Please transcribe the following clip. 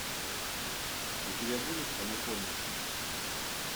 у тебя будет анаконда